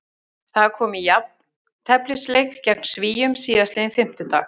Það kom í jafnteflisleik gegn Svíum síðastliðinn fimmtudag.